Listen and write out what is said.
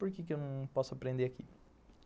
Por que eu não posso aprender aqui?